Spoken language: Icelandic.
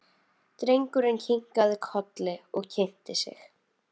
Drengurinn kinkaði kolli og kynnti sig.